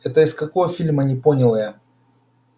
это из какого фильма не поняла я